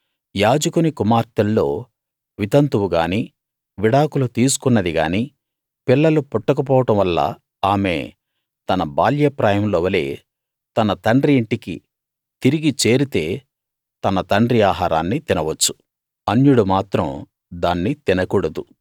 యాజకుని కుమార్తెల్లో వితంతువుగానీ విడాకులు తీసుకున్నది గానీ పిల్లలు పుట్టక పోవడం వల్ల ఆమె తన బాల్యప్రాయంలో వలె తన తండ్రి యింటికి తిరిగి చేరితే తన తండ్రి ఆహారాన్ని తినవచ్చు అన్యుడు మాత్రం దాన్ని తినకూడదు